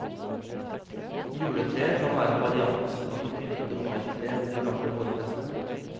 Juletreet kan være en variant av det pyntede maitreet ved de gamle vårfestene.